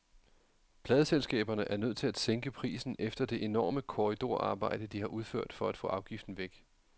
Pladeselskaberne er nødt til at sænke prisen efter det enorme korridorarbejde, de har udført for at få afgiften væk.